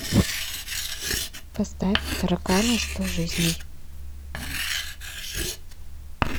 поставь тараканы сто жизней